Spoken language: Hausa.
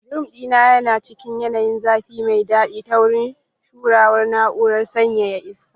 Bedroom ɗin yana cikin yanayin zafi mai daɗi ta wurin shuruwar na'urar sanyaya iska.